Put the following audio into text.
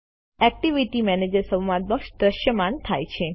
activity manager સંવાદ box દ્રશ્યમાન થાય છે